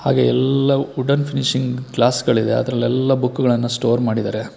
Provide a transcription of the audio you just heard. ಹಾಗೆ ಎಲ್ಲಾ wooden finishing glass ಗಳಿವೆ ಅದರಲ್ಲೆಲ್ಲ ಬುಕ್ ಗಳನ್ನು ಸ್ಟೋರ್ ಮಾಡಿದ್ದಾರೆ.